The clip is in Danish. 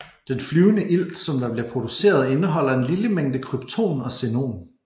Den flyende ilt som der bliver produceret indeholder en lille mængde krypton og xenon